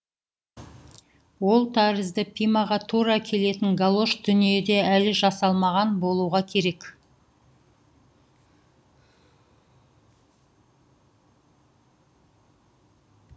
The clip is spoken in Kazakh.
ол тәрізді пимаға тура келетін галош дүниеде әлі жасалмаған болуға керек